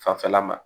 Fanfɛla ma